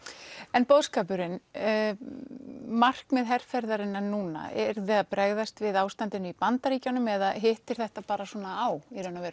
en boðskapurinn markmið herferðarinnar núna eruð þið að bregðast við ástandinu í Bandaríkjunum eða hittir þetta bara svona á